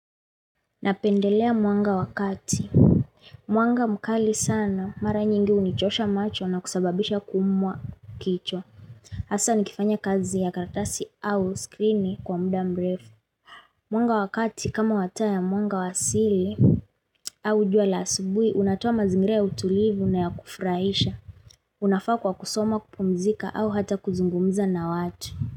Napendelea mwanga wa kati. Mwanga mkali sana mara nyingi hunichosha macho na kusababisha kuumwa kichwa. Hasa nikifanya kazi ya karatasi au skrini kwa muda mrefu Mwanga wa kati kama wa taa ya mwanga wa asili, au jua la asubuhi unatoa mazingira ya utulivu na ya kufurahisha. Unafaa kwa kusoma, kupumzika au hata kuzungumza na watu.